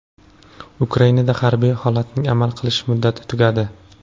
Ukrainada harbiy holatning amal qilish muddati tugadi.